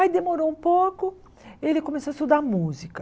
Aí demorou um pouco, ele começou a estudar música.